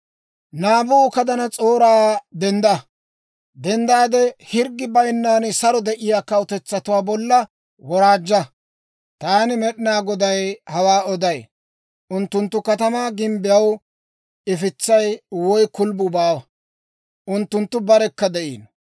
«Naabukadanas'ooraa, dendda! Hirggi bayinnan saro de'iyaa kawutetsatuwaa bolla woraajja! Taani Med'inaa Goday hawaa oday. Unttunttu katamaa gimbbiyaw ifitsay woy kulubbuu baawa. Unttunttu barekka de'iino.